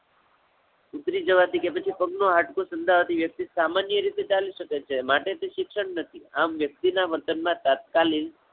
ઉતરી જવાથી કે પછી પગ નું હાડકું સંધાવા થી વ્યક્તિ સામાન્ય રીતે ચાલી શકે છે, માટે તે શિક્ષણ નથી. આમ વ્યક્તિ ના વર્તન માં તત્કાલીન